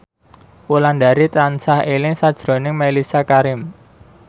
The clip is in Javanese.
Wulandari tansah eling sakjroning Mellisa Karim